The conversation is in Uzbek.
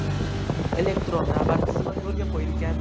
Elektron navbat tizimi yo‘lga qo‘yilgan.